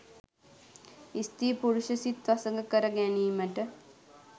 ස්ත්‍රී පුරුෂ සිත් වසඟ කර ගැනීමට